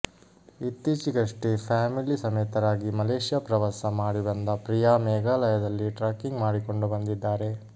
ಇತ್ತೀಚಿಗಷ್ಟೆ family ಸಮೇತರಾಗಿ Malaysia ಪ್ರವಾಸ ಮಾಡಿ ಬಂದ ಪ್ರಿಯಾ ಮೇಘಾಲಯದಲ್ಲಿ ಟ್ರಕ್ಕಿಂಗ್ ಮಾಡಿಕೊಂಡು ಬಂದಿದ್ದಾರೆ